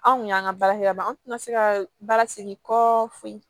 Anw kun y'an ka baarakɛ yɔrɔ dɔn an tɛna se ka baara segin kɔ fo